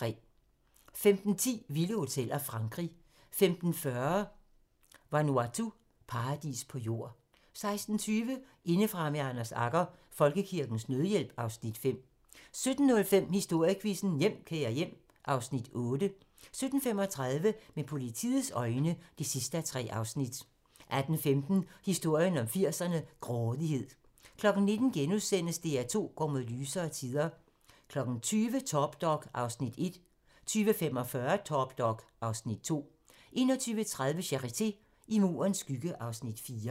15:10: Vilde hoteller - Frankrig 15:40: Vanuatu - paradis på jord 16:20: Indefra med Anders Agger - Folkekirkens Nødhjælp (Afs. 5) 17:05: Historiequizzen: Hjem, kære hjem (Afs. 8) 17:35: Med politiets øjne (3:3) 18:15: Historien om 80'erne: Grådighed 19:00: DR2 går mod lysere tider * 20:00: Top Dog (Afs. 1) 20:45: Top Dog (Afs. 2) 21:30: Charité - I Murens skygge (Afs. 4)